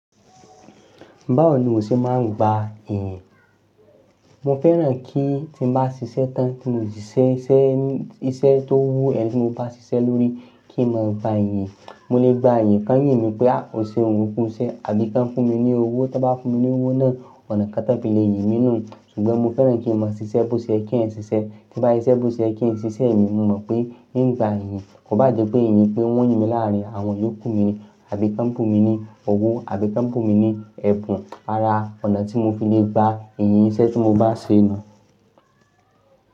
Báwo ni o ṣe máa ń gba iyì? Mo fẹ́ràn kí tí mo bá ṣiṣẹ́ tán tí mo ti ṣiṣẹ́, iṣẹ́ tó wu enì tí mo bá ṣiṣẹ́ lórí kí n má gba iyìn. Mo lè gba iyìn, kàn yìnmí pé a ò ṣeun o ku iṣẹ́ àbí kí wọ́n fún mi ní owó. Tí wọ́n bá fún mi ní owó náà, ọ̀nà kan tan filè yìnmi nú. Ṣùgbọ́n mo fẹ́ràn kí n má a ṣiṣẹ́ bi o ṣẹ́ ye kí ẹ̀eyan ṣiṣẹ́. Tí n bá siṣẹ́ bo ṣẹ́ ye kí ń ṣiṣẹ́ mi, mo mọ̀ pé n gbà iyìn kò bá jẹ́ pé iyin pé wọn yín mi láàrin àwọn iyókù mi àbí kí wọ́n búnmi ní owó àbí kí wọ́n búnmi ní ẹ̀bùn ara ọ̀nà tí mo fi lè gba iyìn iṣẹ́ tí mo bá ṣe nu.